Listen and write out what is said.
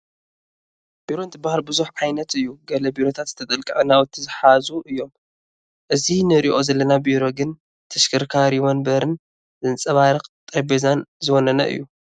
ቢሮ እንትበሃል ብዙሕ ዓይነት እዩ፡፡ ገለ ቢሮታት ዝተጠላቅዐ ናውቲ ዝሓዙ እዮም፡፡ እዚ ንሪኦ ዘለና ቢሮ ግን ተሽከርካሪ ወናብርን ዘንፀባርቕ ጠረጴዛን ዝወነነ እዩ፡፡